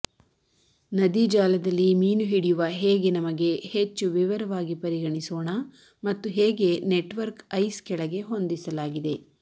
ನದಿ ಜಾಲದಲ್ಲಿ ಮೀನು ಹಿಡಿಯುವ ಹೇಗೆ ನಮಗೆ ಹೆಚ್ಚು ವಿವರವಾಗಿ ಪರಿಗಣಿಸೋಣ ಮತ್ತು ಹೇಗೆ ನೆಟ್ವರ್ಕ್ ಐಸ್ ಕೆಳಗೆ ಹೊಂದಿಸಲಾಗಿದೆ